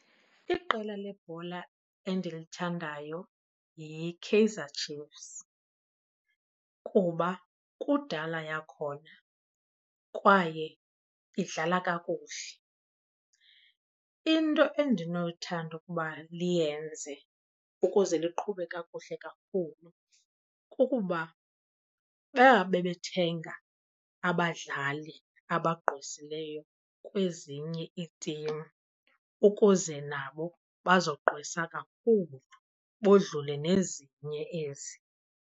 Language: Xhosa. Iqela lebhola endilithandayo yiKaizer Chiefs kuba kudala yakhona kwaye idlala kakuhle. Into endinoyithanda ukuba liyenze ukuze liqhube kakuhle kakhulu kukuba uba bebethenga abadlali abagqwesileyo kwezinye iitim ukuze nabo bazogqwesa kakhulu bodlule nezinye ezi.